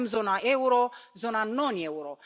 Avem zona euro, zona non euro.